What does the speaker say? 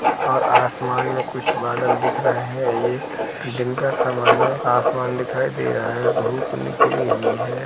और आसमान में कुछ बादल दिख रहे है। ये दिन का समय है। आसमान दिखाई दे रहा है धूप निकली हुई है।